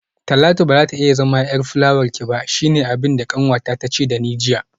Talatu bazata iya zama yar fulawarki ba shine abinda kanwata tace dani jiya